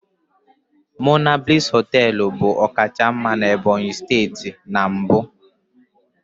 Monablis hoteelu bu ọkacha mma na Ebonyi steeti na mbụ.